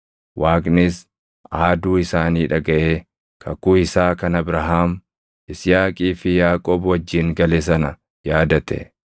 Waaqnis aaduu isaanii dhagaʼee kakuu isaa kan Abrahaam, Yisihaaqii fi Yaaqoob wajjin gale sana yaadate.